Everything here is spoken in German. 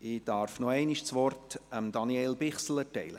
Ich darf das Wort nochmals Daniel Bichsel erteilen.